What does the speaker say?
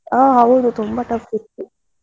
ಹಾ ಹೌದು, ತುಂಬಾ tough ಇತ್ತು.